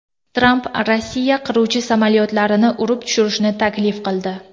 Tramp Rossiya qiruvchi samolyotlarini urib tushirishni taklif qildi .